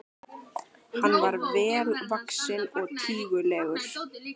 Hann var vel vaxinn og tígulegur.